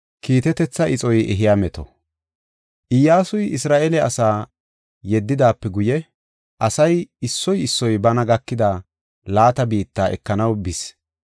Iyyasuy Isra7eele asaa yeddidaape guye, asay issoy issoy bana gakida laata biitta ekanaw bis.